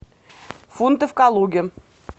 фунты в калуге